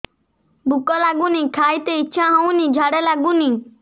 ଭୁକ ଲାଗୁନି ଖାଇତେ ଇଛା ହଉନି ଝାଡ଼ା ଲାଗୁନି